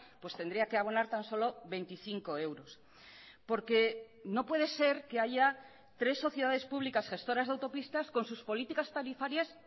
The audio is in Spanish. pues tendría que abonar tan solo veinticinco euros porque no puede ser que haya tres sociedades públicas gestoras de autopistas con sus políticas tarifarias